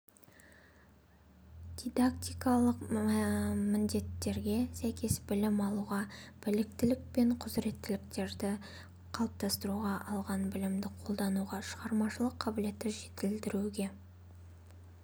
дидактикалық міндеттерге сәйкес білім алуға біліктілік пен құзыреттіліктерді қалыптастыруға алған білімді қолдануға шығармашылық қабілетті жетілдіруге